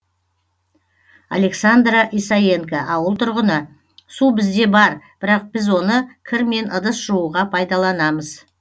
александра исаенко ауыл тұрғыны су бізде бар бірақ біз оны кір мен ыдыс жууға пайдаланамыз